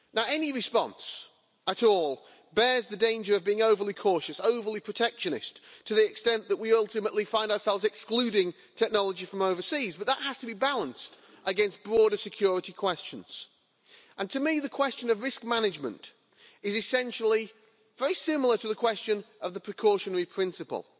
Any response at all bears the danger of being overly cautious, overly protectionist, to the extent that we ultimately find ourselves excluding technology from overseas, but that has to be balanced against broader security questions, and to me the question of risk management is essentially very similar to the question of the precautionary principle.